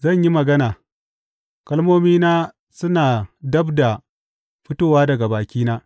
Zan yi magana; kalmomina suna dab da fitowa daga bakina.